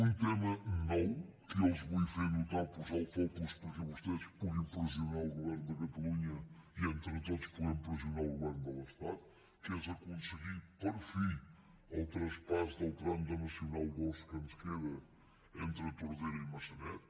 un tema nou que jo els vull fer notar posar·hi el fo·cus perquè vostès puguin pressionar el govern de ca·talunya i entre tots puguem pressionar el govern de l’estat que és aconseguir per fi el traspàs del tram de nacional ii que ens queda entre tordera i maça·net